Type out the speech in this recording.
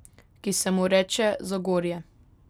Ki se mu reče Zagorje.